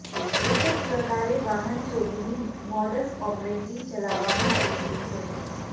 એક જ પ્રકારે વાહન ચોરીની મોડસ ઓપરેન્ડી ચલાવામા આવી રહી છે